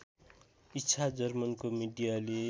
इच्छा जर्मनको मिडियाले